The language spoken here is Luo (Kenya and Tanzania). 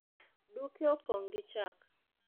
duke opong' gi chak